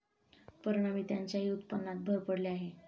परिणामी त्यांच्याही उत्पन्नात भर पडली आहे.